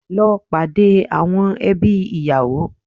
Lọ pàdé àwọn ẹbí ìyàwó